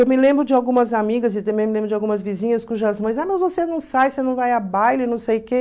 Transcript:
Eu me lembro de algumas amigas e também me lembro de algumas vizinhas cujas mães, ah, mas você não sai, você não vai a baile, não sei o quê.